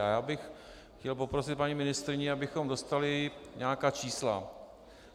A já bych chtěl poprosit paní ministryni, abychom dostali nějaká čísla.